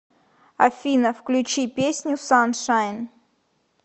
афина включи песню саншайн